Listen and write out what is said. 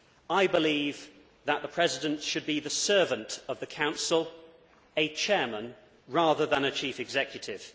I believe that the President should be the servant of the Council a chairman rather than a chief executive.